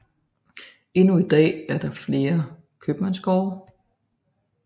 Endnu i dag er der flere købmandsgårde